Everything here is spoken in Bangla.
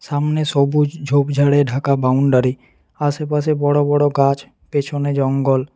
সামনে সবুজ ঝোপঝাড়ে ঢাকা বাউন্ডারি আশেপাশে বড়ো বড়ো গাছ পেছনে জঙ্গল।